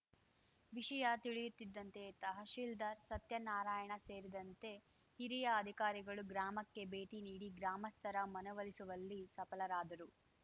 ವಿಷಯ ತಿಳಿಯುತ್ತಿದ್ದಂತೆ ತಹಶಿಲ್ದಾರ್‌ ಸತ್ಯನಾರಾಯಣ ಸೇರಿದಂತೆ ಹಿರಿಯ ಅಧಿಕಾರಿಗಳು ಗ್ರಾಮಕ್ಕೆ ಭೇಟಿ ನೀಡಿ ಗ್ರಾಮಸ್ಥರ ಮನವೊಲಿಸುವಲ್ಲಿ ಸಫರಾದರು